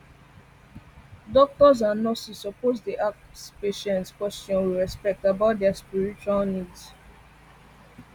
doctors and nurses suppose dey ask patients question with respect about their spiritual spiritual needs